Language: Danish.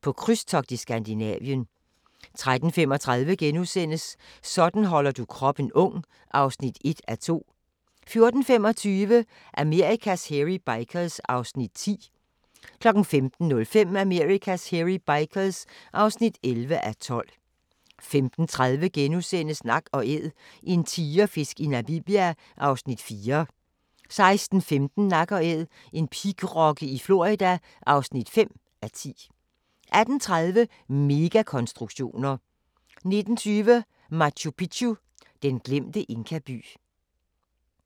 På krydstogt i Skandinavien * 13:35: Sådan holder du kroppen ung (1:2)* 14:25: Amerikas Hairy Bikers (10:12) 15:05: Amerikas Hairy Bikers (11:12) 15:30: Nak & Æd – en tigerfisk i Namibia (4:10)* 16:15: Nak & Æd – en pigrokke i Florida (5:10) 18:30: Megakonstruktioner 19:20: Machu Picchu: Den glemte inkaby